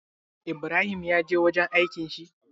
Ibrahim ya je wurin aikin shi?